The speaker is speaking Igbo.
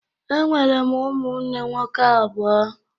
Enwere m ụmụnne nwoke abụọ